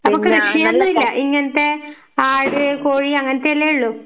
അപ്പൊ കൃഷിയൊന്നും ഇല്ല ഇങ്ങനത്തെ ആട്, കോഴി അങ്ങനത്തെ അല്ലേ ഉള്ളു?